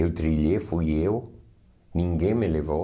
Eu trilhei, fui eu, ninguém me levou.